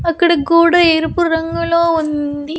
అక్కడ గోడ ఎరుపు రంగులో ఉంది.